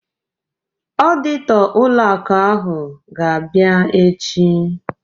Ọditọ ụlọ akụ ahụ ga-abịa echi